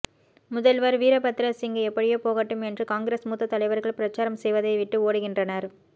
முதல்வர் வீரபத்ர சிங் எப்படியோ போகட்டும் என்று காங்கிரஸ் மூத்த தலைவர்கள் பிரச்சாரம் செய்வதை விட்டு ஓடுகின்றனர்